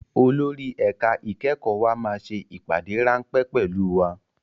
Olórí ẹ̀ka ìkẹ́kọ̀ọ́ wa máa ṣe ìpàdé ráńpẹ́ pẹ̀lú wa